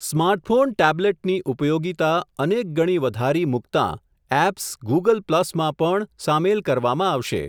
Smartphone ટેબ્લેટની ઉપયોગીતા, અનેક ગણી વધારી મૂકતાં એપ્સ, ગુગલ પ્લસમાં પણ સામેલ કરવામાં આવશે.